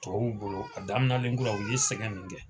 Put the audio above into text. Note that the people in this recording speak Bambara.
Tubabuw bolo a daminɛlenkura u ye sɛgɛn min kɛ